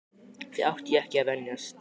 Því átti ég ekki að venjast.